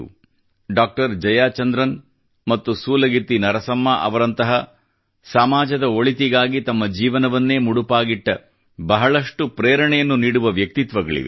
doctor Jayachandran ಮತ್ತು ಸೂಲಗಿತ್ತಿ ನರಸಮ್ಮ ಅವರಂತಹ ಸಮಾಜದ ಒಳಿತಿಗಾಗಿ ತಮ್ಮ ಜೀವನವನ್ನೇ ಮುಡಿಪಾಗಿಟ್ಟ ಬಹಳಷ್ಟು ಪ್ರೇರಣೆಯನ್ನು ನೀಡುವ ವ್ಯಕ್ತಿತ್ವಗಳಿವೆ